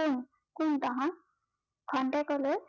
কোন কোন তহত খন্তেকলৈ কোন তহত